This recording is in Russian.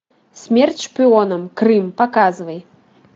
смерть шпионам крым показывай